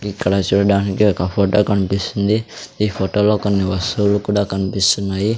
ఇక్కడ చూడడానికి ఒక ఫోటో కనిపిస్తుంది ఈ ఫోటోలో కొన్ని వస్తువులు కూడా కనిపిస్తున్నాయి.